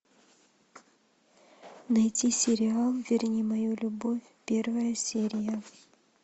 найти сериал верни мою любовь первая серия